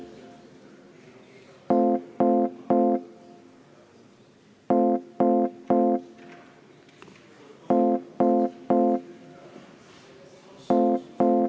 Palun võtta seisukoht ja hääletada!